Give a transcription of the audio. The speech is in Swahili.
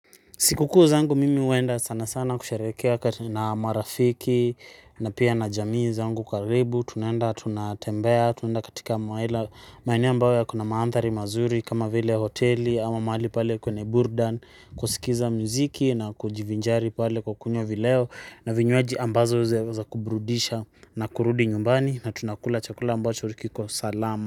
Sikukuu zangu mimi huenda sana sana kusherehekea na marafiki na pia na jamii zangu karibu tunaenda tunatembea tunaenda katika maeneo ambayo yako na mandhari mazuri kama vile hoteli ama mahali pale kwenye burudani kusikiza mziki na kujivinjari pale kukunywa vileo na vinywaji ambazo za kubrudisha na kurudi nyumbani na tunakula chakula ambacho kiko salama.